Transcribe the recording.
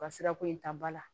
Ka sirako in ta ba la